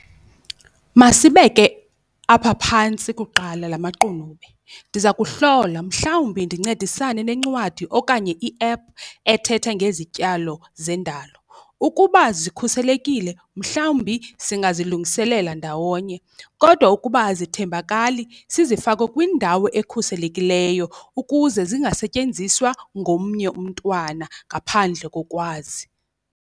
Masibeke apha phantsi kuqala lamaqunube, ndiza kuhlola mhlawumbi ndincedisane nencwadi okanye i-app ethetha ngezityalo zendalo. Ukuba zikhuselekile mhlawumbi singazilungiselela ndawonye. Kodwa ukuba azithembakali sizifake kwindawo ekhuselekileyo ukuze zingasetyenziswa ngomnye umntwana ngaphandle kokwazi.